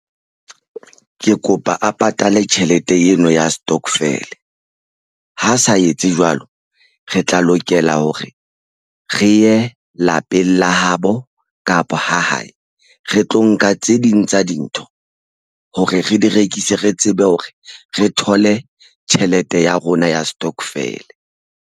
Ke kopa a patale tjhelete eno ya stokvel. Ha sa etse jwalo re tla lokela hore re ye lapeng la hae habo kapa ha hae re tlo nka tse ding tsa dintho hore re di rekise. Re tsebe hore re thole tjhelete ya rona ya stokvel.